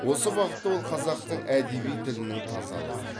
осы бағытта ол қазақтың әдеби тілінің тазалығы